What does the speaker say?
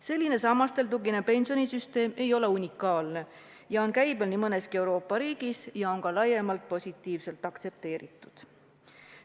Selline sammastele tuginev pensionisüsteem ei ole unikaalne, see on käibel nii mõneski Euroopa riigis ja on ka laiemalt aktsepteeritud.